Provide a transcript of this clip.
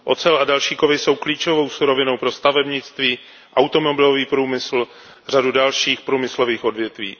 Ocel a další kovy jsou klíčovou surovinou pro stavebnictví, automobilový průmysl a řadu dalších průmyslových odvětví.